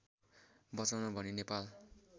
बचाउन भनी नेपाल